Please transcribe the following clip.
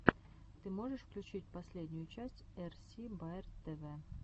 ты можешь включить последнюю часть эрси баер тв